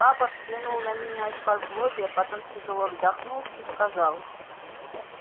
папа взглянул на меня исподлобья потом тяжело вздохнул и сказал